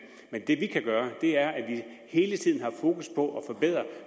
men det vi kan gøre er hele tiden at have fokus på at forbedre